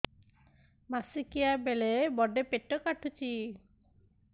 ମାସିକିଆ ବେଳେ ବଡେ ପେଟ କାଟୁଚି